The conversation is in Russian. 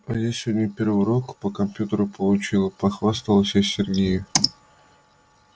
а я сегодня первый урок по компьютеру получила похвасталась я сергею